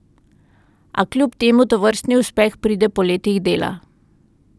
A kljub temu tovrstni uspeh pride po letih dela.